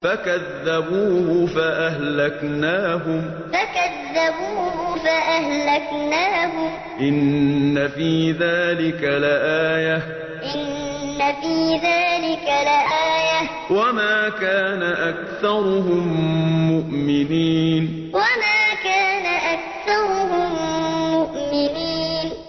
فَكَذَّبُوهُ فَأَهْلَكْنَاهُمْ ۗ إِنَّ فِي ذَٰلِكَ لَآيَةً ۖ وَمَا كَانَ أَكْثَرُهُم مُّؤْمِنِينَ فَكَذَّبُوهُ فَأَهْلَكْنَاهُمْ ۗ إِنَّ فِي ذَٰلِكَ لَآيَةً ۖ وَمَا كَانَ أَكْثَرُهُم مُّؤْمِنِينَ